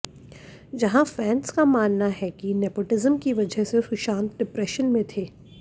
जहां फैंस का मानना है कि नेपोटिज्म की वजह से सुशांत डिप्रेशन में थे